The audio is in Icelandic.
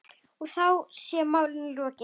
Og þá sé málinu lokið.